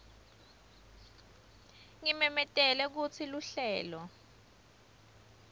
ngimemetele kutsi luhlelo